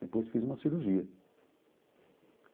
Depois fiz uma cirurgia.